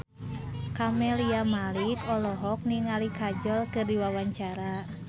Camelia Malik olohok ningali Kajol keur diwawancara